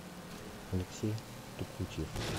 алексей тукутьев